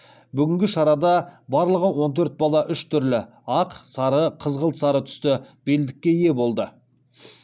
бүгінгі шарада барлығы он төрт бала үш түрлі түсті белдікке ие болды